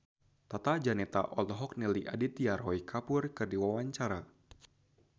Tata Janeta olohok ningali Aditya Roy Kapoor keur diwawancara